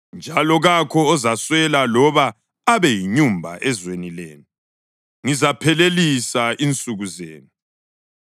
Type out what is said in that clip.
njalo kakho ozaswela loba abe yinyumba ezweni lenu. Ngizaphelelisa insuku zenu.